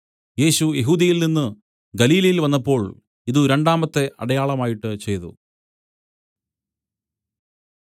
യേശു യെഹൂദ്യയിൽനിന്നു ഗലീലയിൽ വന്നപ്പോൾ ഇതു രണ്ടാമത്തെ അടയാളമായിട്ട് ചെയ്തു